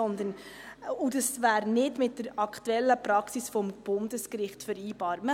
Denn es bleibt eine Parteiabrede und wäre nicht mit der aktuellen Praxis des Bundesgerichts vereinbar.